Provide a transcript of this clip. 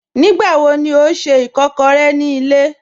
Nígbàwọ̀ ní ọ̀ n ṣẹ́ ìkàkọ̀rẹ̀ ní ilẹ̀?